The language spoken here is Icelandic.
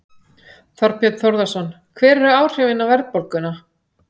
Þorbjörn Þórðarson: Hver eru áhrifin á verðbólguna?